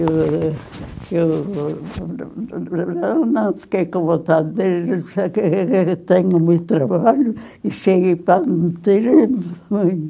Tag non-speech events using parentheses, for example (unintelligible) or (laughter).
Eh, eu (unintelligible) não não fiquei com vontade de vir, só que trabalho e cheguei (unintelligible)